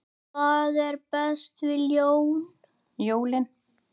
Hvað er best við jólin?